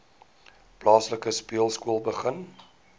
plaaslike speelskool begin